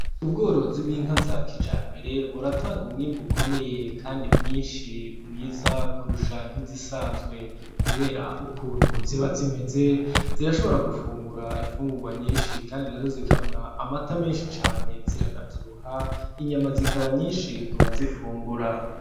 Ubworozi bw'inka za kijambere buratanga umwimbu ukomeye kandi mwinshi mwiza, kurusha nk'izisanzwe kubera ukuntu ziba zimeze zirashobora gufungura imfungugwa nyinshi kandi nazo zikamwa amata menshi cane ziranavyibuha inyama zikaba nyinshi kubazifungura.